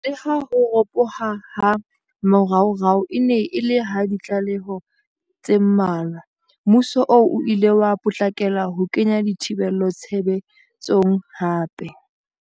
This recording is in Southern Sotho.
Leha ho ropoha ha moraorao e ne e le ha ditlaleho tse mmalwa, mmuso oo o ile wa potlakela ho kenya dithibelo tshebe tsong hape.